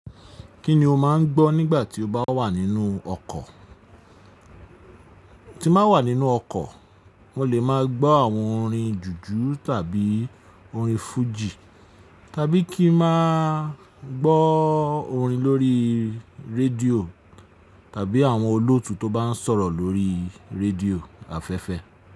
Kí ni o máa ń gbọ́ nígbà tí o bá wà nínú ọkọ̀? Tí mba wà nínú ọkọ̀, mo lè máa gbọ́ àwọn orin jùjú tàbí orin fújì, tàbí kí máa gbọ́ orin lórí rédíò tàbí àwọn olóòtú tó bá ń sọ̀rọ̀ lórí rédíò afẹ́fẹ́